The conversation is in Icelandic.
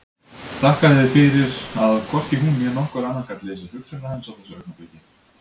Þakkaði fyrir að hvorki hún né nokkur annar gat lesið hugsanir hans á þessu augnabliki.